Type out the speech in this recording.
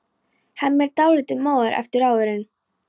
Hemmi er dálítið móður eftir róðurinn.